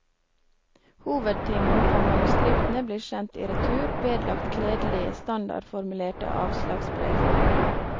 Hovedtyngen av manuskriptene blir sendt i retur, vedlagt kledelige standardformulerte avslagsbrev.